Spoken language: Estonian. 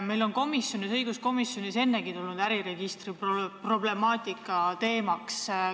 Meil on õiguskomisjonis ennegi äriregistri problemaatika teemaks tulnud.